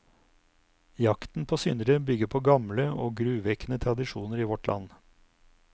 Jakten på syndere bygger på gamle og gruvekkende tradisjoner i vårt land.